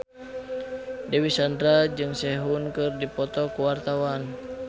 Dewi Sandra jeung Sehun keur dipoto ku wartawan